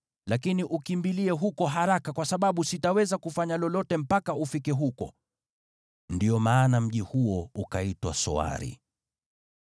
Lakini ukimbilie huko haraka, kwa sababu sitaweza kufanya lolote mpaka ufike huko.” (Ndiyo maana mji huo ukaitwa Soari. )